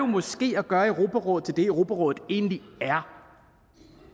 måske at gøre europarådet til det europarådet egentlig er